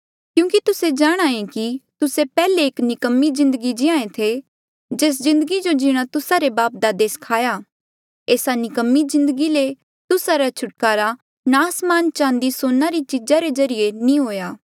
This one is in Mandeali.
क्यूंकि तुस्से जाणहां ऐें कि तुस्से पैहले एक निकम्मी जिन्दगी जीये थे जेस जिन्दगी जो जीणा तुस्सा रे बापदादे सखाया एस्सा निकम्मी जिन्दगी ले तुस्सा रा छुटकारा नास्मान चांदी सोने री चीजा रे ज्रीए नी हुआ